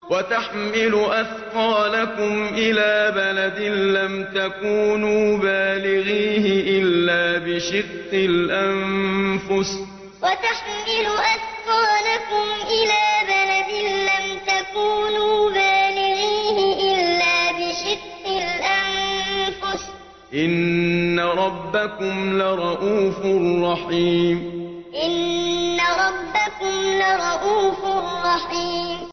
وَتَحْمِلُ أَثْقَالَكُمْ إِلَىٰ بَلَدٍ لَّمْ تَكُونُوا بَالِغِيهِ إِلَّا بِشِقِّ الْأَنفُسِ ۚ إِنَّ رَبَّكُمْ لَرَءُوفٌ رَّحِيمٌ وَتَحْمِلُ أَثْقَالَكُمْ إِلَىٰ بَلَدٍ لَّمْ تَكُونُوا بَالِغِيهِ إِلَّا بِشِقِّ الْأَنفُسِ ۚ إِنَّ رَبَّكُمْ لَرَءُوفٌ رَّحِيمٌ